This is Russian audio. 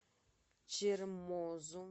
чермозу